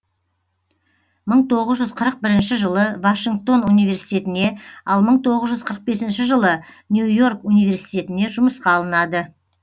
мың тоғыз жүз қырық бірінші жылы вашингтон университетіне ал мың тоғыз жүз қырық бесінші жылы нью йорк университетіне жұмысқа алынады